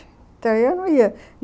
Então eu não ia.